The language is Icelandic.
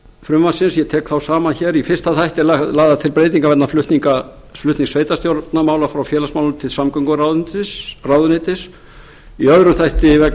frumvarpsins ég tek þá saman hér í fyrsta þætti eru lagðar til breytingar vegna flutnings sveitarstjórnarmála frá félagsmálaráðuneyti til samgönguráðuneytis í öðrum þætti vegna